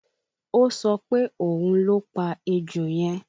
Ó sọ pé òun ló pa ejò yẹn